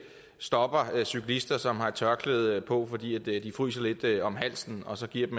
stopper cyklister som har tørklæde på fordi de fryser lidt om halsen og så giver